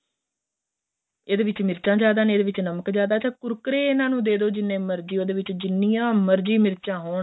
ਇਹਦੇ ਵਿੱਚ ਮਿਰਚਾ ਜ਼ਿਆਦਾ ਨੇ ਏਹਦੇ ਵਿੱਚ ਨਮਕ ਜਿਆਦਾ ਏ ਅੱਛਾ ਕੁਰਕਰੇ ਇਹਨਾ ਨੂੰ ਦੇਦੋ ਜਿੰਨੇ ਮਰਜੀ ਉਹਦੇ ਵਿੱਚ ਜਿੰਨੀਆਂ ਮਰਜੀ ਮਿਰਚਾ ਹੋਣ